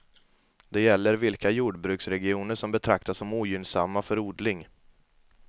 Det gäller vilka jordbruksregioner som betraktas som ogynnsamma för odling.